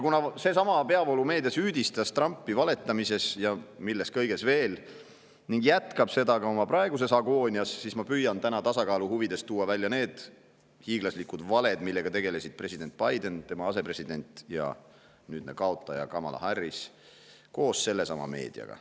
Kuna peavoolumeedia süüdistas Trumpi valetamises ja milles kõiges veel ning jätkab seda ka oma praeguses agoonias, siis ma püüan täna tasakaalu huvides tuua välja need hiiglaslikud valed, mida president Biden ning tema asepresident ja nüüdne kaotaja Kamala Harris koos sellesama meediaga.